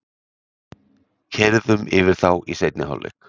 Keyrðum yfir þá í seinni hálfleiknum